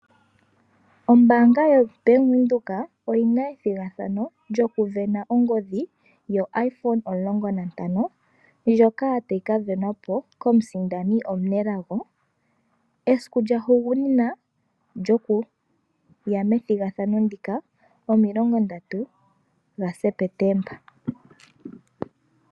Ombaanga yo Bank Windhoek oyina ethigathano lyoku sindana ongodhi yo iphone omulongo nantano ndjoka tayi ka sindanwa po komusindani omunelago . Esiku lya higunina okuya methigathano ndika omilongo ndatu ga Sepetemba.